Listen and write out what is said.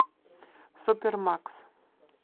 супер макс